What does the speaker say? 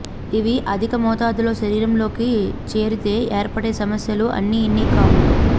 ఇవి అధిక మొతాదులో శరీరంలోకి చేరితే ఏర్పడే సమస్యలు అన్నీఇన్నీ కావు